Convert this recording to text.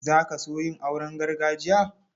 Za ka so yin auren gargajiya?